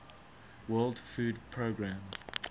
world food programme